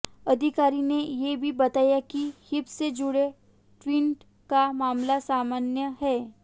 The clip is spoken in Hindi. अधिकारी ने ये भी बताया कि हिप से जुड़े ट्विन का मामला सामान्य है